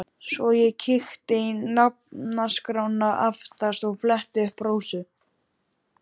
Svo ég kíkti í nafnaskrána aftast og fletti upp Rósu.